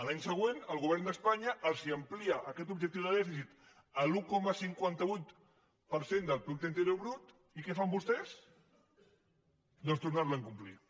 l’any següent el govern d’espanya els amplia aquest objectiu de dèficit a l’un coma cinquanta vuit per cent del producte interior brut i què fan vostès doncs tornar lo a incomplir